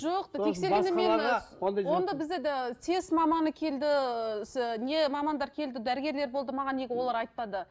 жоқ тексергенде сэс маманы келді ыыы не мамандар келді дәрігерлер болды маған неге олар айтпады